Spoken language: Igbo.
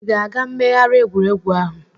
I ga-aga megharị egwuregwu ahụ?